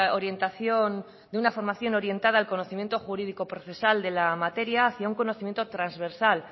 orientación y de una formación orientada al conocimiento jurídico procesal de la materia hacia un conocimiento transversal